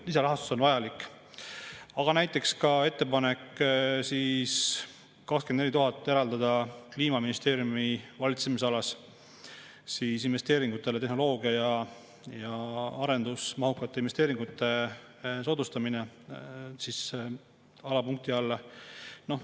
Näiteks ka ettepaneku eraldada 24 000 valitsemisalasse "Tehnoloogia- ja arendusmahukate investeeringute soodustamine" alapunkti alla.